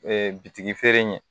bitigi ɲɛ